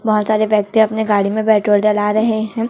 बहोत सारे व्यक्ति अपने गाड़ी में पेट्रोल डला रहे है।